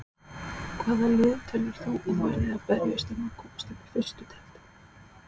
Hvaða lið telur þú að verði að berjast um að komast upp í fyrstu deild?